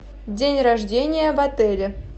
день рождения в отеле